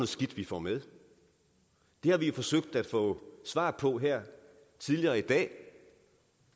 skidt vi får med det har vi forsøgt at få svar på her tidligere i dag